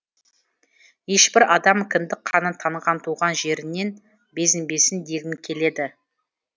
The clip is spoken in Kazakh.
ешбір адам кіндік қаны танған туған жерінен безінбесін дегім келеді